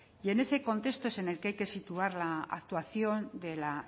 en ese contexto es en el que hay que situar la actuación de la